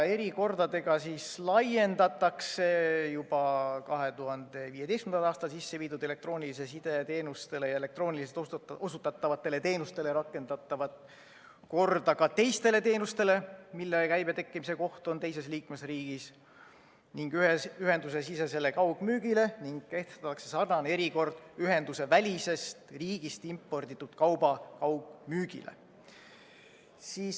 Erikordadega laiendatakse juba 2015. aastal sisse viidud elektroonilise side teenustele ja elektrooniliselt osutatavatele teenustele rakendatavat korda ka teistele teenustele, mille käibe tekkimise koht on teises liikmesriigis, ja ühendusesisesele kaugmüügile ning kehtestatakse sarnane erikord ühendusevälisest riigist imporditud kauba kaugmüügile.